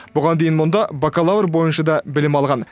бұған дейін мұнда бакалавр бойынша да білім алған